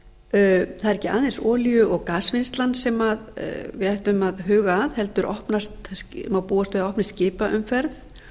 er ekki aðeins olíu og gasvinnslan sem við ættum að huga að heldur má búast við að það opnist skipaumferð